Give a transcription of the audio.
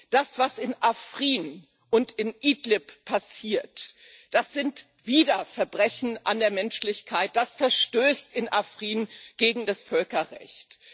Das, was in Afrin und in Idlib passiert, das sind wieder Verbrechen an der Menschlichkeit, das verstößt in Afrin gegen das Völkerrecht.